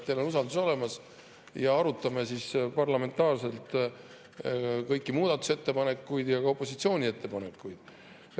Teil on usaldus olemas ja arutame parlamentaarselt kõiki muudatusettepanekuid, ka opositsiooni ettepanekuid.